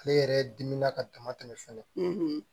Ale yɛrɛ dimina ka dama tɛmɛ fɛnɛ